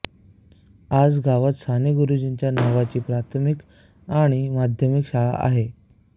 आज गावात साने गुरुजींच्या नावाची प्राथमिक आणि माध्यमिक शाळा आहे